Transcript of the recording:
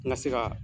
N ka se ka